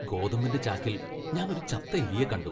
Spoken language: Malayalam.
ഗോതമ്പിന്റെ ചാക്കിൽ ഞാൻ ഒരു ചത്ത എലിയെ കണ്ടു .